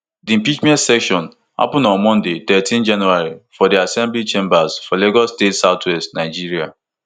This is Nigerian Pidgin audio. di impeachment session happun on monday thirteen january for di assembly chambers for lagos state southwest nigeria